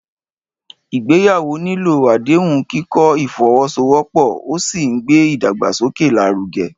Ìgbéyàwó nílò àdéhùn, kíkọ́ ìfọwọ́sowọ́pọ̀, ó sì ń gbé ìdàgbàsókè lárugẹ.